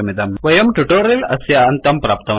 वयं टुटोरियल् अस्य अन्तं प्राप्तवन्तः